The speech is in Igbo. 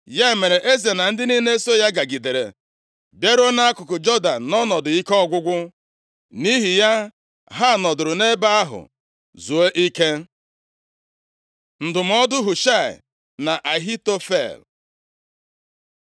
Ya mere, eze na ndị niile so ya gagidere bịaruo nʼakụkụ Jọdan nʼọnọdụ ike ọgwụgwụ. Nʼihi ya, ha nọdụrụ nʼebe ahụ zuo ike. Ndụmọdụ Hushaị na Ahitofel